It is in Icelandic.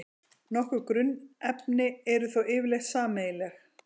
Nokkur grunnefni eru þó yfirleitt sameiginleg.